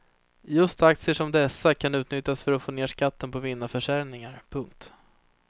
Just aktier som dessa kan utnyttjas för att få ned skatten på vinnarförsäljningar. punkt